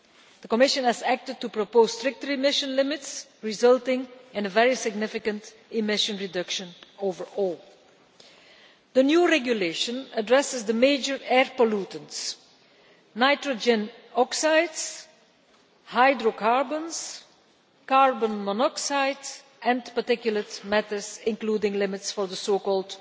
The Commission has acted to propose stricter emission limits, resulting in a very significant emission reduction overall. The new regulation addresses the major air pollutants nitrogen oxides, hydrocarbons, carbon monoxide and particulate matters, including limits for the so called